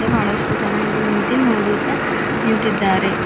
ಇಲ್ಲಿ ಬಹಳಷ್ಟು ಜನ ಇಲ್ಲಿ ನಿಂತಿ ನೋಡುತ್ತಾ ನಿಂತಿದ್ದಾರೆ.